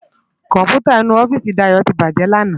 Kòmpútá inú òfìsí Dayo ti bájè làná